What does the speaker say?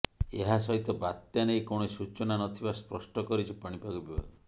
ଏହା ସହିତ ବାତ୍ୟା ନେଇ କୌଣସି ସୂଚନା ନଥିବା ସ୍ପଷ୍ଟ କରିଛି ପାଣିପାଗ ବିଭାଗ